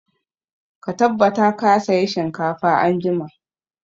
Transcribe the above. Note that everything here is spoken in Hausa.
Ka tabbata ka saya shinkafa anjima!